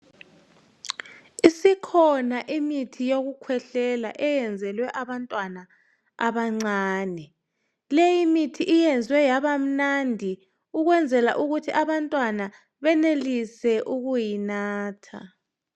Isikhona imithi yokukhwehlela eyenzelwe abantwana abancane. Leyimithi iyenzwe yabamnandi ukwenzela ukuthi abantwana benelise ukuyinatha.